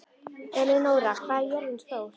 Elenóra, hvað er jörðin stór?